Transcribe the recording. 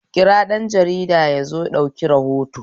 Kira ɗan jarida yazo ɗauki rahoto